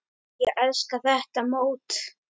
Ég elska þetta mót.